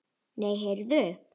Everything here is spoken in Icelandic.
Nei, heyrðu.